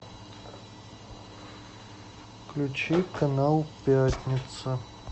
включи канал пятница